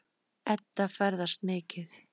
Edda ferðast mikið.